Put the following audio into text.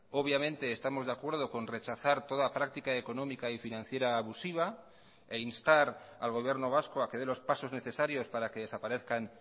obviamente estamos de acuerdo con rechazar toda práctica económica y financiera abusiva e instar al gobierno vasco a que dé los pasos necesarios para que desaparezcan